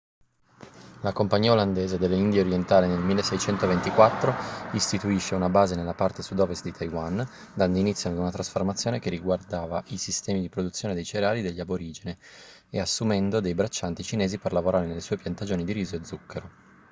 la compagnia olandese delle indie orientali nel 1624 istituisce una base nella parte sud-ovest di taiwan dando inizio ad una trasformazione che riguardava i sistemi di produzione dei cereali degli aborigeni e assumendo dei braccianti cinesi per lavorare nelle sue piantagioni di riso e zucchero